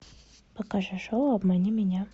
покажи шоу обмани меня